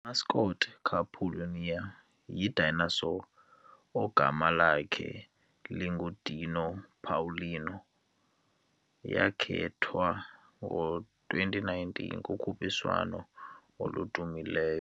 I-mascot kaPaulínia yi-dinosaur, ogama lakhe linguDino Paulino, yakhethwa ngo-2009, kukhuphiswano oludumileyo.